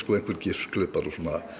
gifsklumpar og